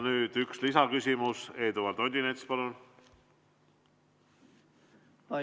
Nüüd üks lisaküsimus, Eduard Odinets, palun!